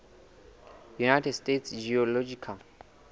united states geological